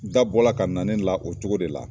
Da bɔla ka na ne la, o cogo de la